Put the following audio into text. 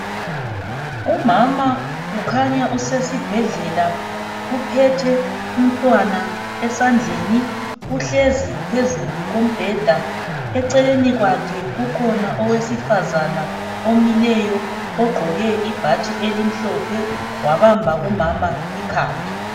Umama kukhanya usesibhedlela uphethe umntwana esandleni uhlezi phezulu kombheda eceleni kwakhe kukhona owesifazana omileyo ogqoke ibhatshi elimhlophe wabamba umama ikhanda